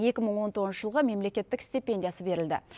екі мың он тоғызыншы жылғы мемлекеттік стипендиясы берілді